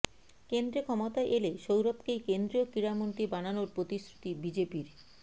কেন্দ্রে ক্ষমতায় এলে সৌরভকেই কেন্দ্রীয় ক্রীড়ামন্ত্রী বানানোর প্রতিশ্রুতি বিজেপির